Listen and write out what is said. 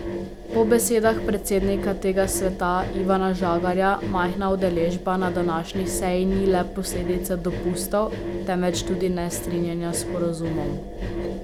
Po besedah predsednika tega sveta Ivana Žagarja majhna udeležba na današnji seji ni le posledica dopustov, temveč tudi nestrinjanja s sporazumom.